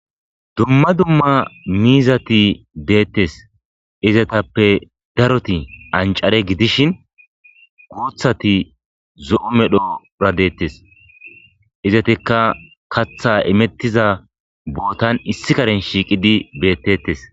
Dumma dumma miizati deettes izatappe daroti ancare gidishin guuthati zo'u medhora deettes izatikka katha imettiza bootan issi karen shiiqidi beettettes.